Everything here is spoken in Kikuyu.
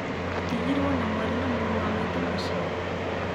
tũtigirwo na mwarĩ na mũrũ wa maitũ mucii?